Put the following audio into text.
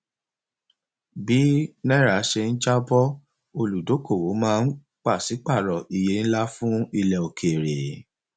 bí náírà ṣe ń jábọ olùdókòwò máa pàṣípàrọ iye ńlá fún ilẹ òkèèrè